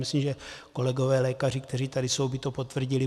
Myslím, že kolegové lékaři, kteří tady jsou, by to potvrdili.